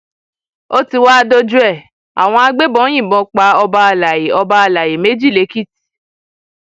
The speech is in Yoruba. ó ti wáá dójú ẹ àwọn agbébọn yìnbọn pa ọba àlàyé ọba àlàyé méjì lẹkìtì